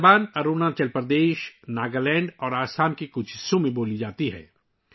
یہ زبان اروناچل پردیش، ناگالینڈ اور آسام کے کچھ حصوں میں بولی جاتی ہے